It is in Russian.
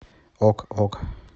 ок ок